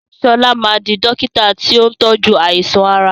Sọlá máa di dókítà tí ó ń tojú àìsàn ara